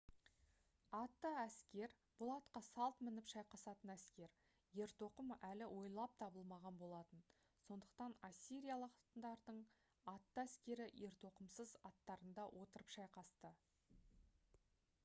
атты әскер бұл атқа салт мініп шайқасатын әскер ертоқым әлі ойлап табылмаған болатын сондықтан ассириялықтардың атты әскері ертоқымсыз аттарында отырып шайқасты